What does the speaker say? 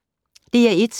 DR1